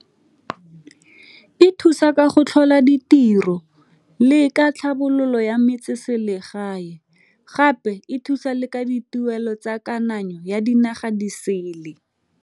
E thusa ka go tlhola ditiro le ka tlhabololo ya metseselegae, gape e thusa le ka dituelo tsa kananyo ya dinaga di sele.